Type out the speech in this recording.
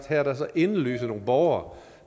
her er der så indlysende nogle borgere